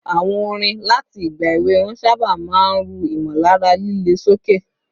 Àwọn orin láti ìgbà èwe wọn sábà máa ń ru ìmọ̀lára líle sókè